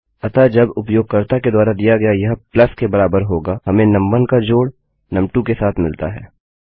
अतः जब उपयोगकर्ता के द्वारा दिया गया यह प्लस के बराबर होगा हमें नुम1 का जोड़ नुम2 के साथ मिलता है